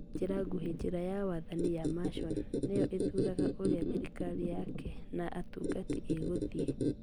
Na njĩra nguhĩ, njĩra ya wathani ya Mason nĩyo ĩthuuraga ũrĩa thirikari yake na atungati ĩgũthiĩ.